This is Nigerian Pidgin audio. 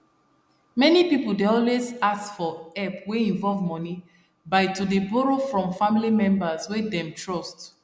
many people dey always as for help wey involve money by to dey borrow from family members wey them trust